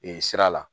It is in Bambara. Ee sira la